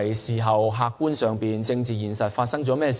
在客觀上，她上任後發生了甚麼事情呢？